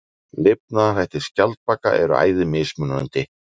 Lifnaðarhættir skjaldbaka eru æði mismunandi.